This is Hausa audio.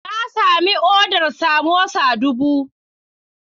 Na sami odar samosa dubu